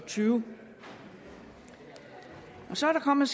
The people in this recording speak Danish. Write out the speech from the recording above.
og tyve så er der kommet